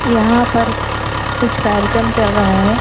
यहां पर कुछ कार्यक्रम चल रहा है।